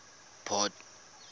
port